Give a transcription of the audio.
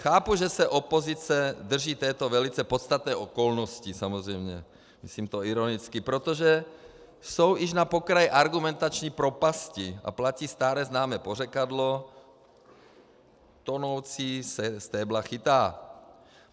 Chápu, že se opozice drží této velice podstatné okolnosti, samozřejmě myslím to ironicky, protože jsou již na pokraji argumentační propasti a platí staré známé pořekadlo "tonoucí se stébla chytá".